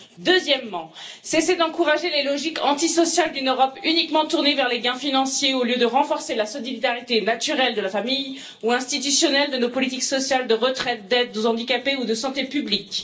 Deuxièmement, cessez d'encourager les logiques antisociales d'une Europe uniquement tournée vers les gains financiers au lieu de renforcer la solidarité naturelle de la famille ou institutionnelle de nos politiques sociales de retraite, d'aides aux handicapés ou de santé publique.